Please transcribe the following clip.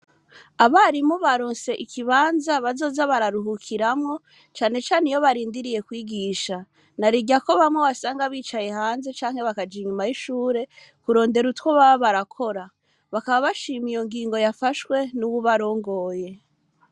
Abarimu baronse ikibanza bazoza bararuhukiramwo cane cane iyo barindiye kwigisha. Na rirya ko bamwe wasanga bicaye hanze canke bakaja inyuma y'ishure kurondera utwo baba barakora. Bakaba bashima iyo ngingo yafashwe n'uwubarongoye.